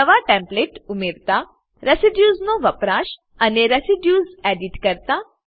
નવા ટેમ્પ્લેટ ઉમેરતા રેસિડ્યુઝ નો વપરાશ અને રેસિડ્યુઝ એડિટ કરતા